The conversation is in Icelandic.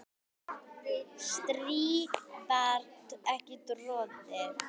strý var ekki troðið